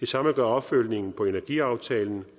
det samme gør opfølgningen på energiaftalen